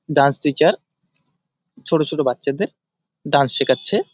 Dance teacher ছোট ছোট বাচ্চাদের ডান্স শেখাচ্ছে।